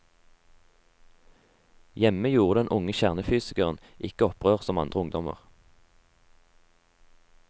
Hjemme gjorde den unge kjernefysikeren ikke opprør som andre ungdommer.